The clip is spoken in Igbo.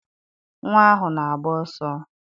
Nnwa ahụ na-agba ọsọ